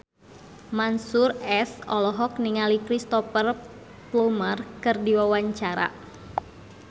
Mansyur S olohok ningali Cristhoper Plumer keur diwawancara